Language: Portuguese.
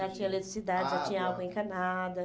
Já tinha eletricidade, água, já tinha água encanada.